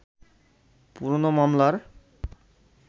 পুরোনো মামলার